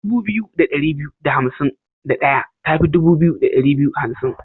Dubu biyu da ɗari biyu da hansim da ɗaya ta fi dubu biyu ɗari biyu hansim.